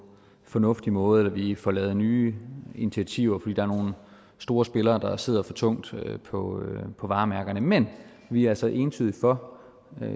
en fornuftig måde eller vi får lavet nye initiativer fordi der er nogle store spillere der sidder for tungt på varemærkerne men vi er altså entydigt for